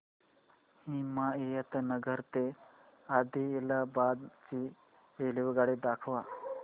हिमायतनगर ते आदिलाबाद ची रेल्वेगाडी दाखवा